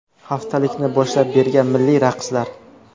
Haftalikni boshlab bergan milliy raqslar.